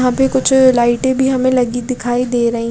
यहाँ पे कुछ लायटे भी हमे लगी दिखाई दे रही--